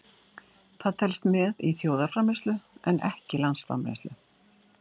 Það telst með í þjóðarframleiðslu en ekki landsframleiðslu.